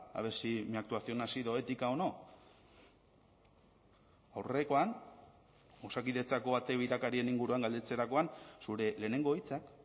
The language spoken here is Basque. a ver si mi actuación ha sido ética o no aurrekoan osakidetzako ate birakarien inguruan galdetzerakoan zure lehenengo hitzak